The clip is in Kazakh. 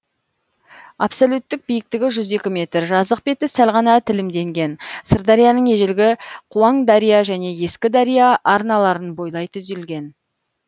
абсолюттік биіктігі жүз екі метр жазық беті сәл ғана тілімденген сырдарияның ежелгі қуаңдария және ескідария арналарын бойлай түзілген